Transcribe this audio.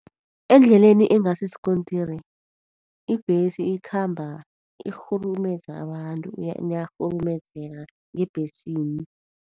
Endleleni engasisikontiri ibhesi ikhamba irhurumeja abantu. Niyarhurumejeka ngebhesini.